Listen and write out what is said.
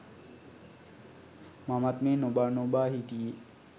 මමත් මේ නොබා නොබා හිටියේ